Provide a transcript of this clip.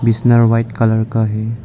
बिस्तर white colour का है।